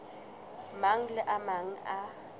mang le a mang a